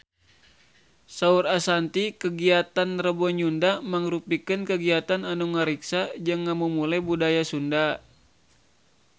Saur Ashanti kagiatan Rebo Nyunda mangrupikeun kagiatan anu ngariksa jeung ngamumule budaya Sunda